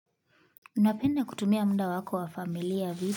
Unapenda kutumia muda wako wa familia video?